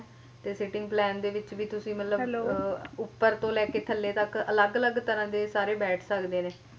ਤੇ sitting plain ਦੇ ਵਿੱਚ ਵੀ ਤੁਸੀ ਮਤਲਬ ਉਹ ਉਪਰ ਤੋਂ ਲੈਕੇ ਥੱਲੇ ਤੱਕ ਅਲੱਗ ਅਲੱਗ ਤਰਾਂ ਦੇ ਸਾਰੇ ਬੈਠ ਸਕਦੇ ਨੇ